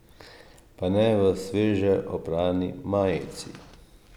Pa ne v sveže oprani majici!